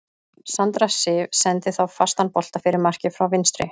Sandra Sif sendi þá fastan bolta fyrir markið frá vinstri.